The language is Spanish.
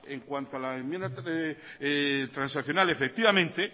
en cuanto a la enmienda transaccional efectivamente